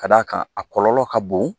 Ka d'a kan a kɔlɔlɔ ka bon